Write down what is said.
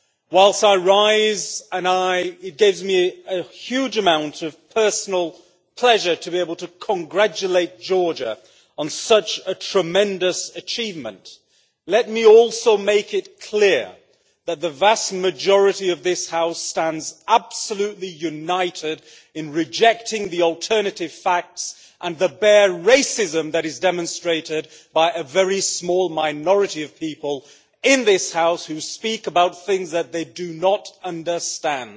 Whilst I rise and it gives me a huge amount of personal pleasure to be able to congratulate Georgia on such a tremendous achievement, let me also make it clear that the vast majority of this House stands absolutely united in rejecting the alternative facts and the bare racism that is demonstrated by a very small minority of people in this House, who speak about things that they do not understand.